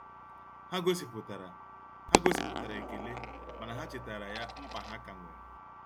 Ha gosipụtara Ha gosipụtara ekele mana ha chetara ya mkpa ha ka nwere.